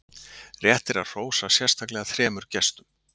Rétt er að hrósa sérstaklega þremur gestum.